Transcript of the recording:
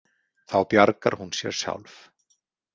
Þá bjargar hún sér sjálf.